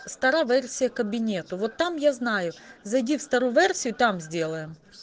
старая версия кабинета вот там я знаю зайди в старую версию там сделаем